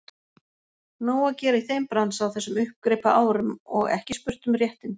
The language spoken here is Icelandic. Nóg að gera í þeim bransa á þessum uppgripaárum og ekki spurt um réttindi.